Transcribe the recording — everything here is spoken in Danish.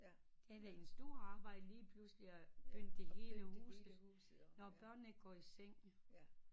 Det er da en stor arbejde lige pludselig at pynte det hele huset når børnene går i seng